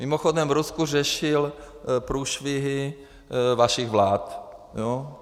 Mimochodem, v Rusku řešil průšvihy vašich vlád.